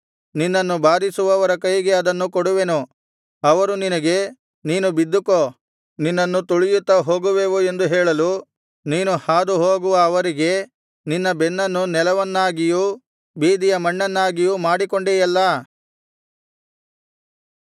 ನಿನ್ನನ್ನು ಬಾಧಿಸುವವರ ಕೈಗೆ ಅದನ್ನು ಕೊಡುವೆನು ಅವರು ನಿನಗೆ ನೀನು ಬಿದ್ದುಕೋ ನಿನ್ನನ್ನು ತುಳಿಯುತ್ತಾ ಹೋಗುವೆವು ಎಂದು ಹೇಳಲು ನೀನು ಹಾದುಹೋಗುವ ಅವರಿಗೆ ನಿನ್ನ ಬೆನ್ನನ್ನು ನೆಲವನ್ನಾಗಿಯೂ ಬೀದಿಯ ಮಣ್ಣನ್ನಾಗಿಯೂ ಮಾಡಿಕೊಂಡೆಯಲ್ಲಾ